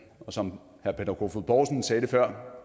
og som herre peter kofod poulsen sagde det før